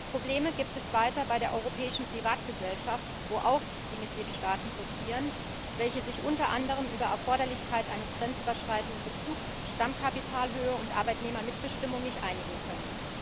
Probleme gibt es weiter bei der europäischen Privatgesellschaft, wo auch die Mitgliedstaaten blockieren, welche sich unter anderem über die Erforderlichkeit eines grenzüberschreitenden Bezugs, Stammkapitalhöhe und Arbeitnehmermitbestimmung nicht einigen können.